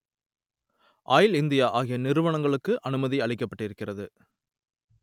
oil India ஆகிய நிறுவனங்களுக்கு அனுமதி அளிக்கப்பட்டிருக்கிறது